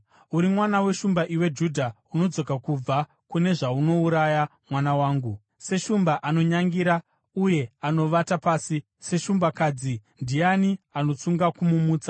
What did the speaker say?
Uri mwana weshumba, iwe Judha; unodzoka kubva kune zvaunouraya, mwana wangu. Seshumba anonyangira uye anovata pasi, seshumbakadzi, ndiani anotsunga kumumutsa?